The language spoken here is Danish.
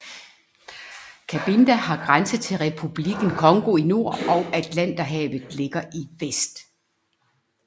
Cabinda har grænse til Republikken Congo i nord og Atlanterhavet ligger i vest